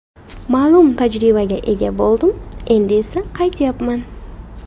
Ma’lum tajribaga ega bo‘ldim, endi esa qaytyapman.